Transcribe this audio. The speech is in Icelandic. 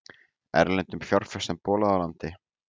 Erlendum fjárfestum bolað úr landi